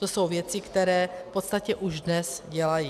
To jsou věci, které v podstatě už dnes dělají.